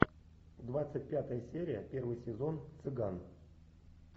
двадцать пятая серия первый сезон цыган